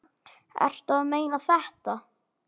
Ertu að meina þetta?